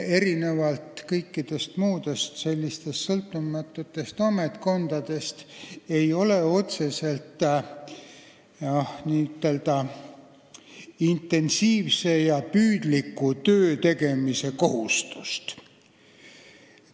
Erinevalt kõikidest muudest sõltumatutest ametkondadest ei ole Riigikontrollil otseselt n-ö intensiivse ja püüdliku töö tegemise kohustust.